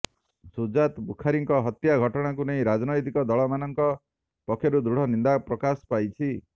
ସୁଜାତ ବୁଖାରୀଙ୍କ ହତ୍ୟା ଘଟଣାକୁ ନେଇ ରାଜନୈତିକ ଦଳମାନଂକ ପକ୍ଷରୁ ଦୃଢ଼ ନିନ୍ଦା ପ୍ରକାଶ ପାଇଛି